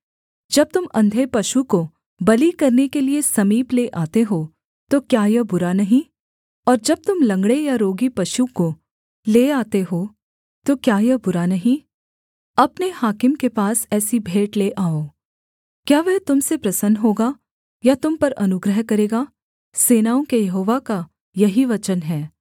जब तुम अंधे पशु को बलि करने के लिये समीप ले आते हो तो क्या यह बुरा नहीं और जब तुम लँगड़े या रोगी पशु को ले आते हो तो क्या यह बुरा नहीं अपने हाकिम के पास ऐसी भेंट ले आओ क्या वह तुम से प्रसन्न होगा या तुम पर अनुग्रह करेगा सेनाओं के यहोवा का यही वचन है